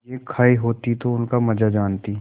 चीजें खायी होती तो उनका मजा जानतीं